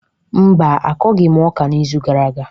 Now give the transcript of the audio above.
Mba, akọghị m ọka n’izu gara aga